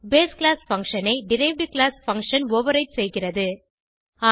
base class function ஐ derived class function override செய்கிறது